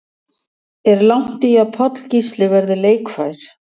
Er langt í að Páll Gísli verði leikfær?